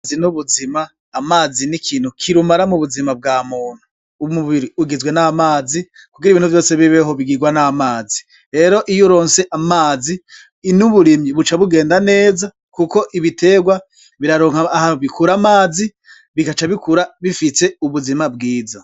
Amazi n'ubuzima, amazi n'ikintu kirumara mu buzima bwa muntu, umubiri igizwe n'amazi, kugira ibintu vyose bibeho bigigwa n'amazi, rero iyo uronse amazi, n'uburimyi buca bugenda neza, kuko ibitegwa biraronka aho bikura amazi bigaca bikura bifise ubuzima bwiza.